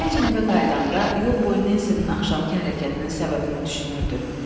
Fecin evə qayıdanda yol boyu Nensinin axşamkı hərəkətinin səbəbini düşünürdü.